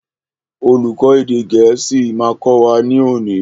Olùkó èdè gẹ̀ẹ́sì ma kọ́ wa ní òní.